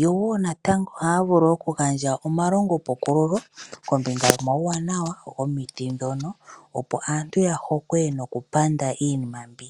Yo woo natango ohaya vulu oku gandja omalongo pukululo kombinga yomawuwanawa gomiti dhono opo aantu ya hokwe nokupanda iinima mbi.